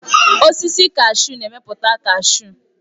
Osisi kashu na-emepụta kashu.